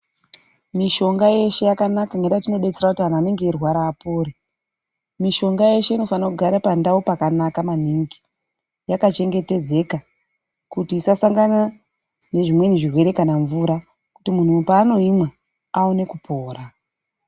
Mushonga yeshe yakanaka ngekuti inenge yeidetsera kuti Antu anenge eirwara apore . Mushonga yeshe inofana kugara pandau yakanaka maningi yakachengetedzeka kuti isasangana mezvimweni zvirwere kana mvura kuti muntu paanoimwa awane kupora.